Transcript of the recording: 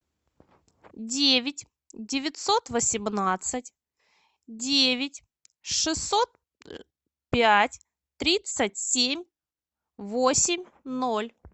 девять девятьсот восемнадцать девять шестьсот пять тридцать семь восемь ноль